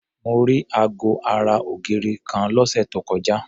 Mo rí aago ara ògiri kan lọ́sẹ̀ tó kọjá.